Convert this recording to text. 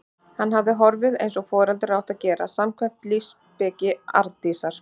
Hann hafði horfið- eins og foreldrar áttu að gera, samkvæmt lífsspeki Arndísar.